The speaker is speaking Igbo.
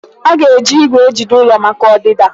Aga eji igwè ejide ụlọ maka ọdịda?